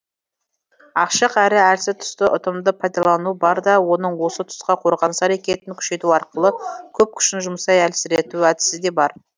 ашық әрі әлсіз тұсты ұтымды пайдалану бар да оның осы тұсқа қорғаныс әрекетін күшейту арқылы көп күшін жұмсай әлсірету әдісі де бар